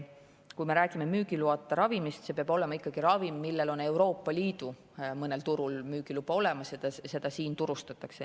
Kui me räägime müügiloata ravimist, siis see peab ikkagi olema ravim, millel on Euroopa Liidu mõnel turul müügiluba olemas ja seda turustatakse.